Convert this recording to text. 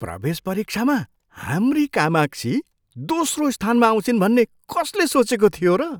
प्रवेश परीक्षामा हाम्री कामाक्षी दोस्रो स्थानमा आउँछिन् भन्ने कसले सोचेको थियो र?